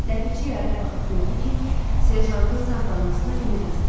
Ləpirçi yaraya baxıb gördü ki, serjantın sağ qalmasına ümid azdır.